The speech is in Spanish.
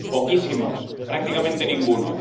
Poquísimos, prácticamente ninguno.